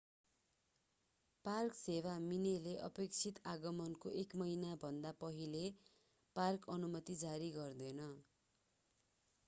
Park सेवा minae ले अपेक्षित आगमनको एक महिनाभन्दा पहिले पार्क अनुमति जारी गर्दैन।